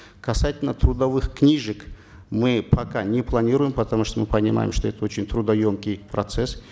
касательно трудовых книжек мы пока не планируем потому что мы понимаем что это очень трудоемкий процесс